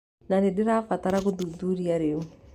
Na nĩndĩrabatara gũthuthuria rĩu. "